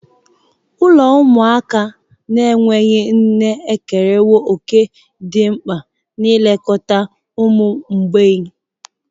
Ụlọ ụmụaka na-enweghị nne ekerewo òkè dị mkpa n'ilekọta ụmụ mgbei.